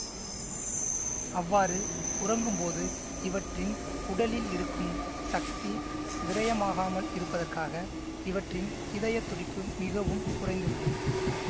அவ்வாறு உறங்கும் போது இவற்றின் உடலில் இருக்கும் சக்தி விரயமாகாமல் இருப்பதற்காக இவற்றின் இதய துடிப்பு மிகவும் குறைந்துவிடும்